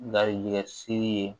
Garijɛgɛ siri ye